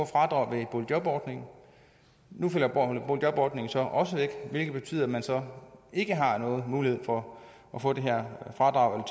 fradrag ved boligjobordningen nu falder boligjobordningen så også væk hvilket betyder at man så ikke har nogen mulighed for at få det her fradrag